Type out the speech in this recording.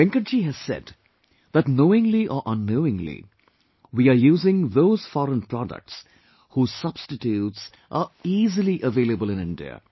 Venkat ji has said that knowingly or unknowingly, we are using those foreign products whose substitutes are easily available in India